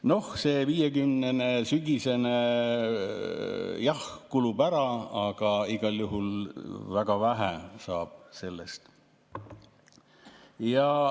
Noh, see 50‑eurone, sügisene, jah kulub ära, aga igal juhul väga vähe saab sellest.